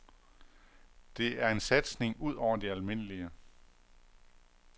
Det er en satsning ud over det almindelige.